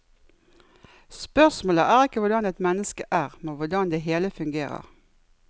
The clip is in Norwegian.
Spørsmålet er ikke hvordan et menneske er, men hvordan det hele fungerer.